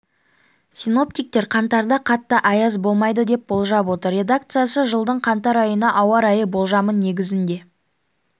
синоптиктер қаңтарда қатты аяз болмайды деп болжап отыр редакциясы жылдың қаңтар айына ауа райы болжамын негізінде